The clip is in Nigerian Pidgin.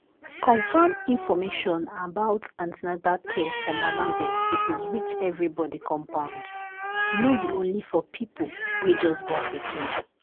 confam information about an ten atal care for mama dem suppose reach everybody compound no be only for people wey just born pikin.